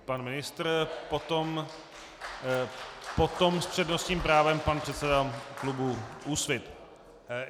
Pan ministr, potom s přednostním právem pan předseda klubu Úsvit.